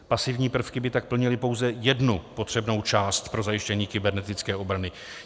Pasivní prvky by tak plnily pouze jednu potřebnou část pro zajištění kybernetické obrany.